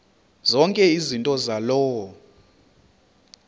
zonke izinto zaloo